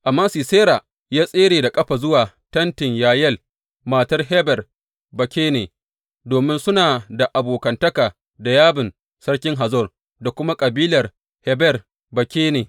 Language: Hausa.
Amma Sisera, ya tsere da ƙafa zuwa tentin Yayel, matar Heber Bakene, domin suna da abokantaka da Yabin sarkin Hazor da kuma kabilar Heber Bakene.